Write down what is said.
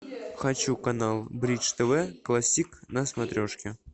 хочу канал бридж тв классик на смотрешке